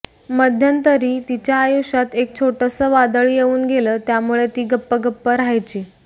मध्यंतरी तिच्या आयुष्यात एक छोटसं वादळ येऊन गेलं त्यामुळे ती गप्प गप्प राहायची